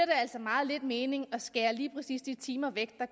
altså meget lidt mening at skære lige præcis de timer væk der